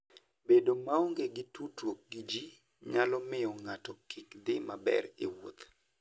Bedo maonge gi tudruok gi ji nyalo miyo ng'ato kik dhi maber e wuoth.